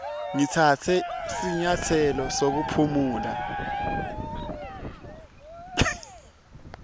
ngitsatse sinyatselo sekuphumula